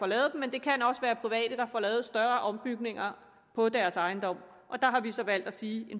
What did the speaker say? lavet men det kan også være private der får lavet større ombygninger på deres ejendom der har vi så valgt at sige at